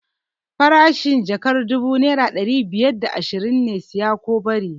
Farashin jakar dubu naira ɗari biyar da ashirin ne, siya ko bari!